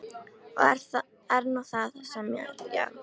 Það er nú það sem er, já.